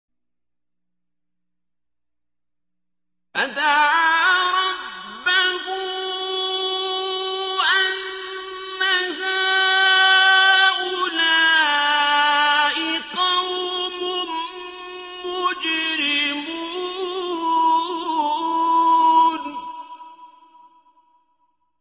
فَدَعَا رَبَّهُ أَنَّ هَٰؤُلَاءِ قَوْمٌ مُّجْرِمُونَ